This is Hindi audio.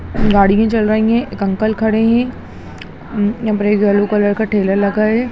गाड़ी भी चल रहे है एक अंकल खड़े है उम्म यहाँ पर एक येलो कलर का ठेला लगा है।